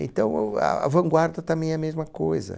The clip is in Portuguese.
Então, o ah a vanguarda também é a mesma coisa.